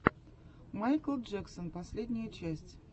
майкл джексон последняя часть